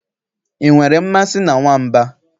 I nwere mmasị na nwamba?